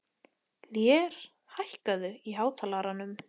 Lér, lækkaðu í hátalaranum.